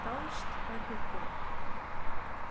Dáðst að hjúkkunum.